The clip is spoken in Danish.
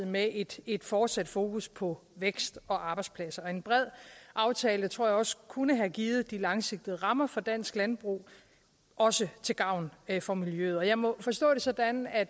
med et et fortsat fokus på vækst og arbejdspladser en bred aftale tror jeg også kunne have givet de langsigtede rammer for dansk landbrug også til gavn for miljøet jeg må forstå det sådan at